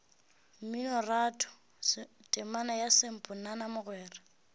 mminoratho temana ya samponana mogwera